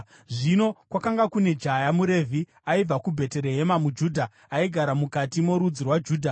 Zvino kwakanga kune jaya muRevhi aibva kuBheterehema muJudha, aigara mukati morudzi rwaJudha,